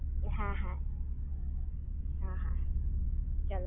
હા હા, ચલો